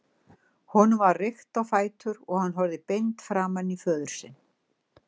Honum var rykkt á fætur og hann horfði beint framan í föður sinn.